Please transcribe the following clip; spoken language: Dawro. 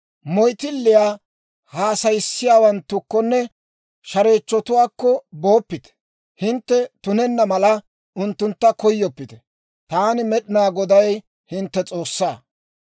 « ‹Moyttiliyaa haasayissiyaawanttukkonne shareechchotuwaakko booppite; hintte tunenna mala unttuntta koyyoppite. Taani, Med'inaa Goday, hintte S'oossaa.